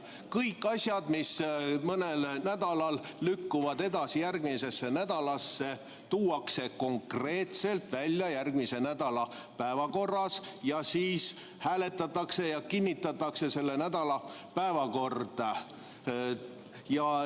Kõik asjad, mis mõnel nädalal lükkuvad edasi järgmisesse nädalasse, tuuakse konkreetselt välja järgmise nädala päevakorras ning siis hääletatakse ja kinnitatakse selle nädala päevakord.